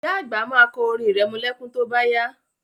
Ìyá àgbà ma kọ orin irẹmọlẹ́kún tó bá yá